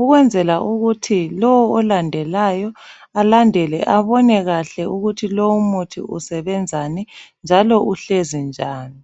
ukwenzela ukuthi lowo olandelayo alandele abone kakhe ukuthi lowu umuthi usebenzani njalo uhlezi njani